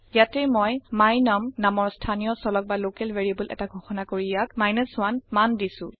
ইয়াটেই মই my num নামৰ স্থানীয় চলক বা লকেল ভেৰিয়েবল এটা ঘোষণা কৰি ইয়াক 1 মান দিছো